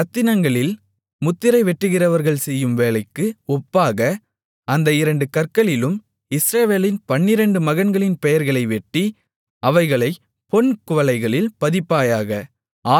இரத்தினங்களில் முத்திரை வெட்டுகிறவர்கள் செய்யும் வேலைக்கு ஒப்பாக அந்த இரண்டு கற்களிலும் இஸ்ரவேலின் பன்னிரண்டு மகன்களின் பெயர்களை வெட்டி அவைகளைப் பொன் குவளைகளில் பதிப்பாயாக